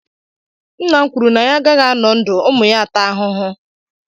Nna m kwuru na ya agaghị anọ ndụ ụmụ ya a taa ahụhụ.